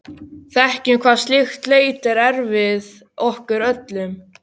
Þekkjum hvað slík leit er erfið okkur öllum.